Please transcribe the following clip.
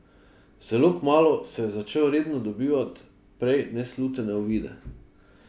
Zelo kmalu je začel redno dobivati prej neslutene uvide.